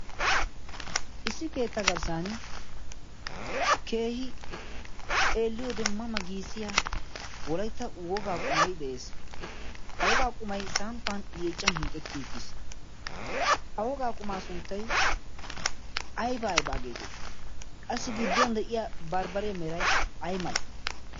issi keettaa garssan keehi xeelliyode ma ma giisiya wolaitta wogaa qumai de7ees. ha wogaa qumai samppan yeechchan hiixetti uttiis. ha wogaa qumaa sunttai aibaa aibaa geetettii? qassi gidduwan de7iya barbbare merai ai malai?